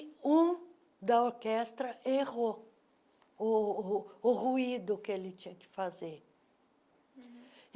E um da orquestra errou o o o ruído que ele tinha que fazer. uhum